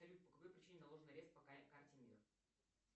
салют по какой причине наложен арест по карте мир